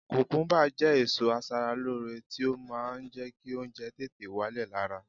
Kùkúmúbá jẹ́ èso aṣaralóore tí ó máa ń jẹ́ kí oúnjẹ tètè wálẹ̀ lára